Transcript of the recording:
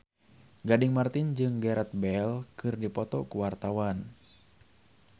Gading Marten jeung Gareth Bale keur dipoto ku wartawan